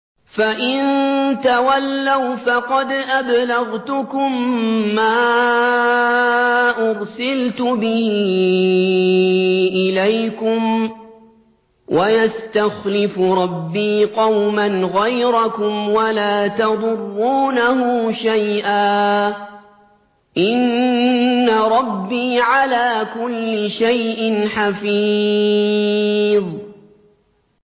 فَإِن تَوَلَّوْا فَقَدْ أَبْلَغْتُكُم مَّا أُرْسِلْتُ بِهِ إِلَيْكُمْ ۚ وَيَسْتَخْلِفُ رَبِّي قَوْمًا غَيْرَكُمْ وَلَا تَضُرُّونَهُ شَيْئًا ۚ إِنَّ رَبِّي عَلَىٰ كُلِّ شَيْءٍ حَفِيظٌ